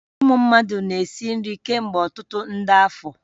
Ụmụ mmadụ na-esi nri kemgbe ọtụtụ nde afọ